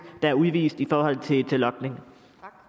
der er udvist i forhold til logning